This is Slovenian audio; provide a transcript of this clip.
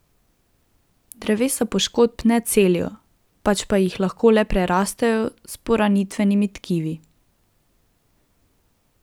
Drevesa poškodb ne celijo, pač pa jih lahko le prerastejo s poranitvenimi tkivi.